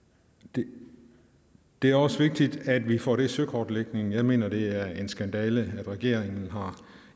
det det er også vigtigt at vi får den søkortlægning jeg mener at det er en skandale at regeringen